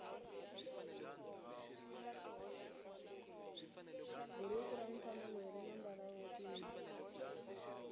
bhuruku ramufana loyi rinambala wontima